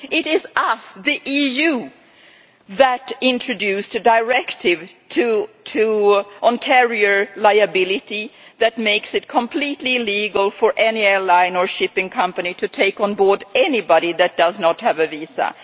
It is us, the EU, which introduced a directive on carrier liability that makes it completely illegal for any airline or shipping company to take on board anybody that does not have a visa.